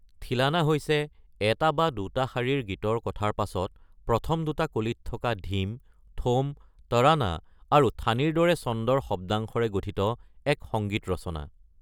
থিলানা হৈছে এটা বা দুটা শাৰীৰ গীতৰ কথাৰ পাছত প্ৰথম দুটা কলিত থকা ধীম, থোম, তৰানা আৰু থানিৰ দৰে ছন্দৰ শব্দাংশৰে গঠিত এক সংগীত ৰচনা।